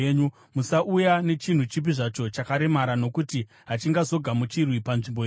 Musauya nechinhu chipi zvacho chakaremara nokuti hachizogamuchirwi panzvimbo yenyu.